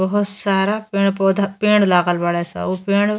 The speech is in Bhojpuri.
बहोत सारा पड़े पौधा पड़े लागल बाड़े स। ऊ पेड़ --